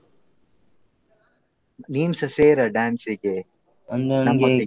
ನೀನ್ಸ ಸೇರ dance ಗೆ. ಅಂದ್ರೆ ನಂಗೆ ಕಾಲು ನೋವುಂಟಾ ನನಗೆ dance ಮಾಡ್ಲಿಕ್ಕೆ ಆಗುವುದಿಲ್ಲ.